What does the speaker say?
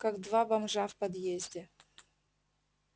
как два бомжа в подъезде